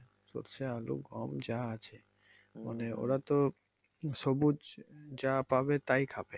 সরষে আলু গম যা আছে মানে ওতা তো সবুজ যা পাবে তাই খাবে।